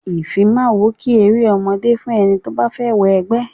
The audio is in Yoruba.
Ìfimáwo kìí eré ọmọdé fún ẹni tó bá fẹ́ wọ ẹgbẹ́.